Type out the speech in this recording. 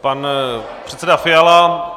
Pan předseda Fiala.